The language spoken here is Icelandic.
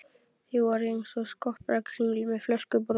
Þið voruð einsog skopparakringlur með flöskubrotin.